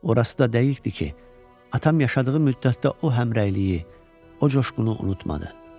Orası da dəqiqdir ki, atam yaşadığı müddətdə o həmrəyliyi, o coşqunu unutmadı.